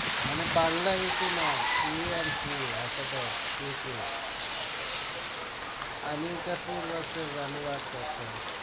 মানে Bangla A K নয় । A and K alphabets AK. Anil Kapoor versus Anurag Kashyap